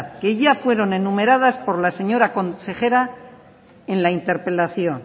que ya fueron enumeradas por la señora consejera en la interpelación